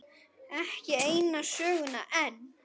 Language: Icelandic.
Ekki eina söguna enn.